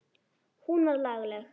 Hún var lagleg.